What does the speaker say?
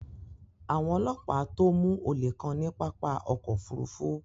Awọn ọlọpa tó mú ọlé kàn ni pápá ọkọ̀ òfurufú